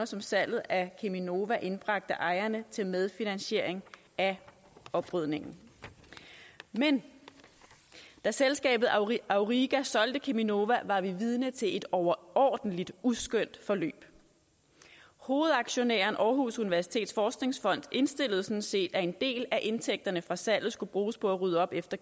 som salget af cheminova indbragte ejerne til medfinansiering af oprydningen men da selskabet auriga auriga solgte cheminova var vi vidne til et overordentlig uskønt forløb hovedaktionæren aarhus universitets forskningsfond indstillede sådan set at en del af indtægterne fra salget skulle bruges på at rydde op efter